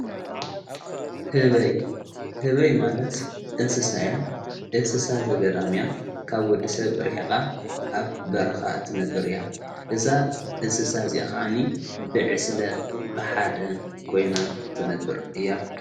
ህበይ ማለት እንስሳያ እንስሳ ዘገዳምያ ካብ ወዲ ሰብ ርሒቓ ኣብ በረኻ እትነብር እያ እዛ እንስሳ እዚ ኸዓኒ ብዕስለ በሓደ ኮይና ትነብር እያ::